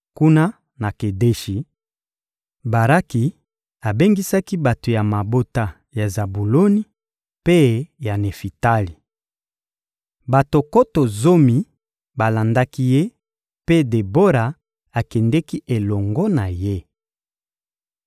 Kuna na Kedeshi, Baraki abengisaki bato ya mabota ya Zabuloni mpe ya Nefitali. Bato nkoto zomi balandaki ye, mpe Debora akendeki elongo na ye.